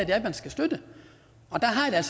er man skal støtte og der har jeg